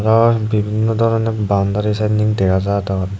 are bibinno doroner boundary sinnen dega jadon.